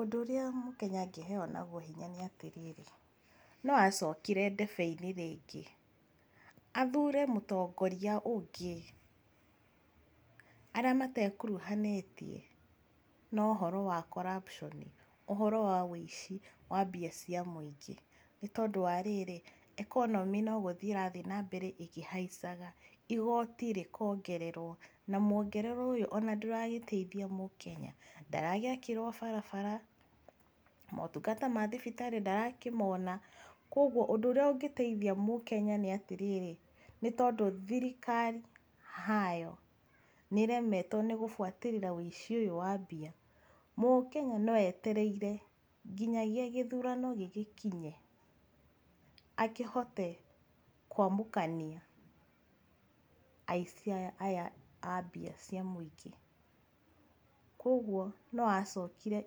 Ũndũ ũrĩa Mũkenya angĩheo naguo hinya nĩ atĩrĩrĩ, no acokire ndebe-inĩ rĩngĩ, athure mũtogoria ũngĩ, arĩa matekuruhaniĩtie na ũhoro wa corruption, ũhoro wa wũici wa mbia cia mũingĩ. Nĩ tondũ wa rĩrĩ, economy no gũthiĩ ĩrathiĩ na mbere na ĩkĩhaicaga, igoti rĩkongererwo, na mũongererwo ũyũ ona ndũragĩteithia Mũkenya , ndaragĩakĩrwo barabara, motungata ma thibitarĩ ndĩrakĩmona,. Koguo ũndũ ũrĩa ũngĩteithia Mũkenya nĩ atĩrĩrĩ, nĩ tondũ thirikari hayo, nĩremetwo nĩgũbuatĩrĩra wĩici ũyũ wa mbia, Mũkenya no etereire nginyagia gĩthurano gĩgĩkinye akĩhote kwamũkania aici aya aya a mbia cia mũingĩ. Koguo no acokire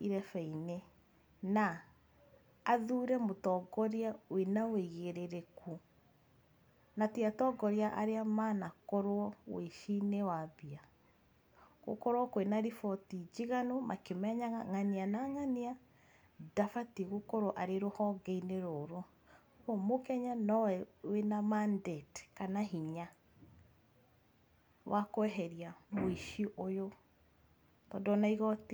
irebebe-inĩ na athure mũtongoria wĩna ũigĩrĩrĩku, na ti atongoria arĩa manakorwo ũici-inĩ wa mbia. Gũkorwo kwĩna riboti njiganu, makĩmenyaga ng'ania na ng'ania ndabatie gũkorwo rũhonge-inĩ rũrũ. Koguo Mũkenya nowe wĩna mandate kana hinya wa kweheria mũici ũyũ, tondũ ona igoti